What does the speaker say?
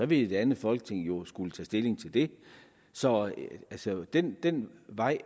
vil et andet folketing jo skulle tage stilling til det så så den den vej